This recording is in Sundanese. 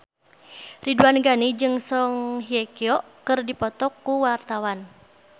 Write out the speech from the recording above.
Ridwan Ghani jeung Song Hye Kyo keur dipoto ku wartawan